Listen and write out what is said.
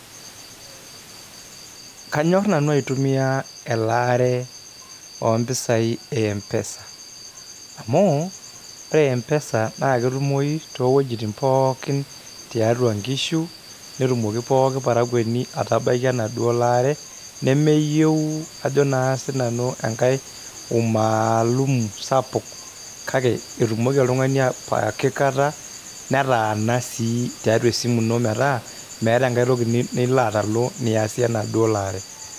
Kanyor nanu aitumia elaare ompisai empesa amu ore empesa naa ketumoyu toowuejitin pookin tiatua inkishu netumoki pooki parakuoni atabaiki enaduo laare , nemeyieu ajo naa sinanu enkae umaalumu sapuk kake etumoki oltungani pooki kata netaana sii tiatua esimu ino metaa enkae toki nilo atalu aasie enaduo laare.